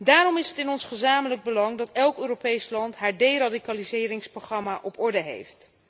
Daarom is het in ons gezamenlijk belang dat elk Europees land haar deradicaliseringsprogramma op orde heeft.